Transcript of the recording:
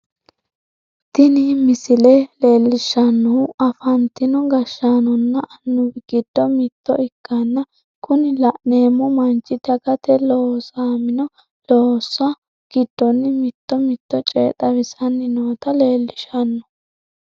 Tini misile leellishshannohu afantino gashshaanonna annuwi giddo mitto ikkanna kuni la'neemmo manchi dagate loosamino loossa giddonni mito mito coye xawisanni noota leellishshanno.